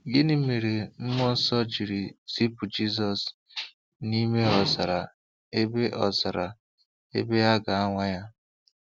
Gịnị mere Mmụọ Nsọ jiri zipụ Jizọs n'ime ọzara ebe ọzara ebe a ga-anwa ya?